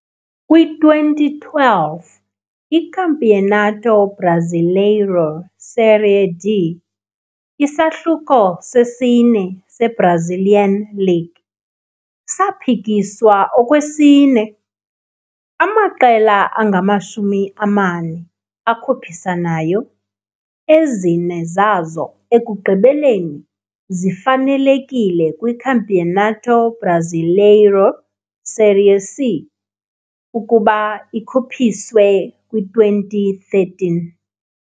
Kwi-2012, i-Campeonato Brasileiro Série D, isahlulo sesine se-Brazilian League, saphikiswa okwesine. Amaqela angamashumi amane akhuphisanayo, ezine zazo ekugqibeleni zifanelekile kwiCampeonato Brasileiro Série C ukuba ikhuphiswe kwi-2013.